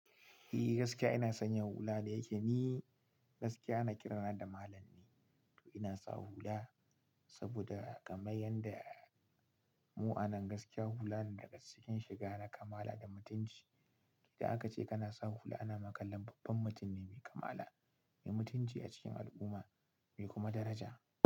E gaskiya ina sanya hula da yake, ni gaskiya ana kirana da malam ne to ina sa hula saboda kamar yadda mu'amin gaskiya hula ne daga cikin shiga na kamala da mutunci. Idan aka ce kana sa hula ana makallon babban mutum ne mai kamala, mai mutunci a cikin al'umma mai kuma daraja.